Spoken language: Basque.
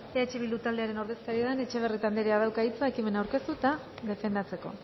eh bildu taldearen ordezkaria den etxebarrieta andrea dauka hitza ekimena aurkeztu eta defendatzeko